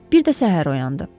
Bir də səhər oyandı.